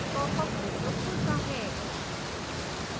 popअप window खुलता है